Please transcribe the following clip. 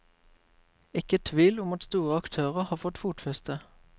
Ikke tvil om at store aktører har fått fotfeste.